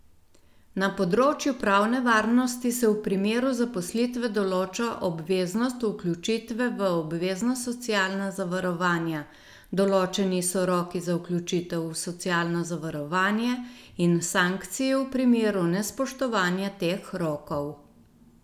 Na področju pravne varnosti se v primeru zaposlitve določa obveznost vključitve v obvezna socialna zavarovanja, določeni so roki za vključitev v socialno zavarovanje in sankcije v primeru nespoštovanja teh rokov.